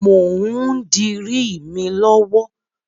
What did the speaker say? Mò ń dirí mi lọ́wọ́.